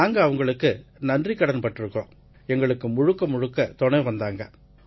நாங்க அவங்களுக்கு நன்றிக்கடன் பட்டிருக்கோம் எங்களுக்கு முழுக்க முழுக்க துணை வந்தாங்க